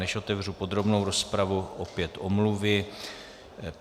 Než otevřu podrobnou rozpravu, opět omluvy.